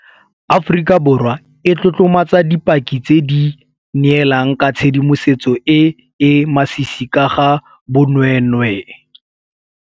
Aforika Borwa e tlotlomatsa dipaki tse di neelang ka tshedimosetso e e masisi ka ga bonweenwee.